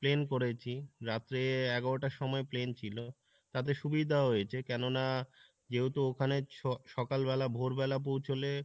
plane করেছি, রাত্রে এগারো টার সময় plane ছিলো তাতে সুবিধাও হয়েছে কেননা যেহেতু ওখানে স~সকালবেলা ভোর বেলা পৌঁছলে